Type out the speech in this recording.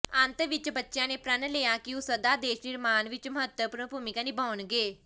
ਅੰਤ ਵਿੱਚ ਬੱਚਿਆਂ ਨੇ ਪ੍ਰਣ ਲਿਆ ਕਿ ਉਹ ਸਦਾ ਦੇਸ਼ ਨਿਰਮਾਣ ਵਿੱਚ ਮਹੱਤਵਪੂਰਨ ਭੂਮਿਕਾ ਨਿਭਾਉਣਗੇ